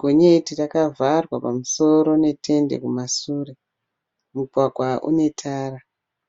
Gonyeti rakavharwa pamusoro netende kumasure. Mugwagwa une tara.